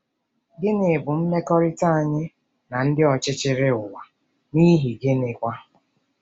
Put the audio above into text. Gịnị bụ mmekọrịta anyị na ndị ọchịchị ụwa, n’ihi gịnịkwa?